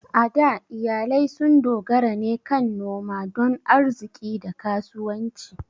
A da, iyalai sun dogara ne kan noma don arziƙi da kasuwanci.